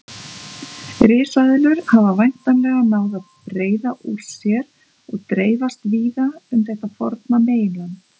Risaeðlur hafa væntanlega náð að breiða úr sér og dreifast víða um þetta forna meginland.